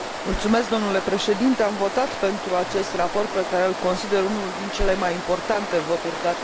Am votat pentru acest raport, pe care îl consider unul din cele mai importante voturi date unui raport astăzi.